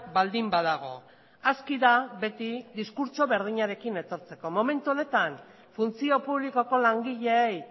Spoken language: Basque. baldin badago aski da beti diskurtso berdinarekin etortzeko momentu honetan funtzio publikoko langileei